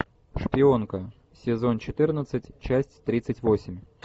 шпионка сезон четырнадцать часть тридцать восемь